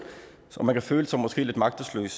man føler sig måske lidt magtesløs